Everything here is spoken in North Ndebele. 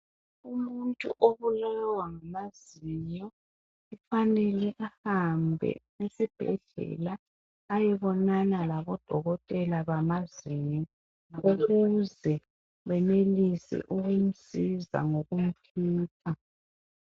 Umuntu obulawa ngamazinyo ufanele ahambe esibhedlela ayebonana labodokotela bamazinyo benze benelise ukumsiza ngokumkhipha